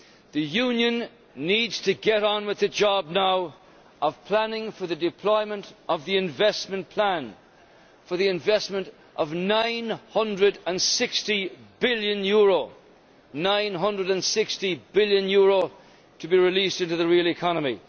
The Union needs to get on with the job now of planning for the deployment of the investment plan, for the investment of EUR 960 billion EUR 960 billion to be released into the real economy.